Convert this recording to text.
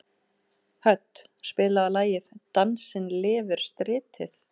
Hödd, spilaðu lagið „Dansinn lifir stritið“.